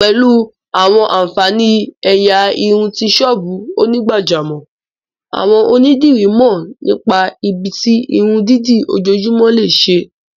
Pẹ̀lú àwọn ààǹfàní ẹ̀yà irun ti ṣọ́ọ́bù onígbàjámọ̀, àwọn onídìrí mọ̀ nípa ibi tí irun dídì ojoojúmọ́ lè ṣe